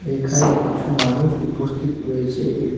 এখানে কিছু মানুষ উপস্থিত রয়েছে এ--